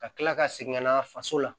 Ka kila ka segin ka na faso la